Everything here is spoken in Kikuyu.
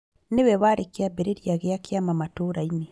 Niwe warĩ kĩambĩrĩria gĩa kĩama matũra-inĩ